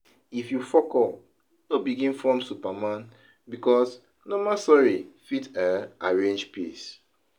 If yu fuckup no begin form superman bikos normal sori fit um arrange peace